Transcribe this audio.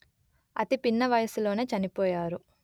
అతి పిన్న వయస్సులోనే చనిపోయారు